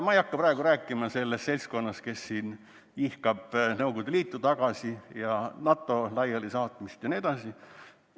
Ma ei hakka praegu rääkima sellest seltskonnast, kes siin ihkab Nõukogude Liitu tagasi ja NATO laialisaatmist jne.